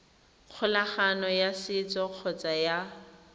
kgolagano ya setso kgotsa ya